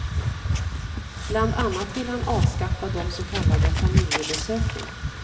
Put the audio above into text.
Bland annat vill han avskaffa de så kallade familjebesöken.